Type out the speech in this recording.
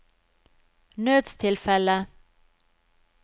nødstilfelle